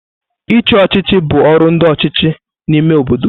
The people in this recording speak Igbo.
Ichi ochịchị bụ ọrụ ndi ọchịchị n'ime obodo.